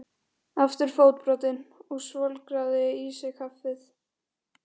Aftur fótbrotinn og svolgraði í sig kaffið.